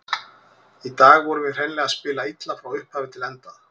Í dag vorum við hreinlega að spila illa, frá upphafi til enda.